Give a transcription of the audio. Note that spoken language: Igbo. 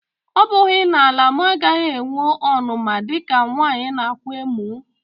Ọ̀ bughi na-ala-mọ agaghi-enwe ọnuma dika nwanyi nākwa emò?